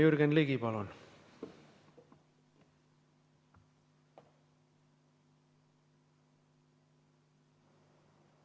Jürgen Ligi, palun!